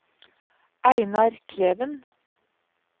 Einar Kleven